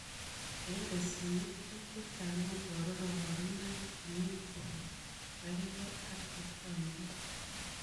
Eng tesiniet, piik chechang kobaruu kabarunoik chemechee kogargei ak chechomdos